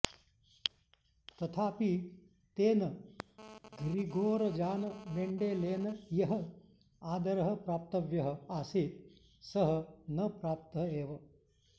तथापि तेन Gregor Johann मेण्डेलेन यः आदरः प्राप्तव्यः आसीत् सः न प्राप्तः एव